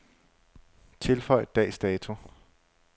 Tilføj dags dato.